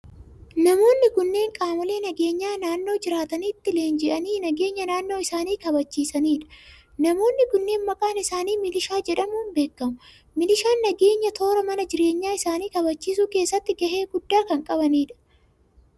Namoonni kunneen qaamolee nageenyaa naannoo jiraatanitti leenji'anii nageenya naannoo isaanii kabajsiisanii dha. Namoonni kunneen, maqaan isaanii milishaa jedhamuun beekamu. Milishaan nageenya toora mana jireenya isaanii kabajsiisuu keessatti gahee guddaa kan qabaniidha.